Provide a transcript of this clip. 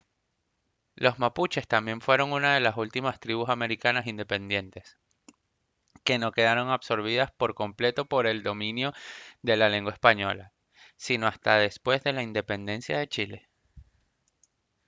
los mapuches también fueron una de las últimas tribus americanas independientes que no quedaron absorbidas por completo por el dominio de la lengua española sino hasta después de la independencia de chile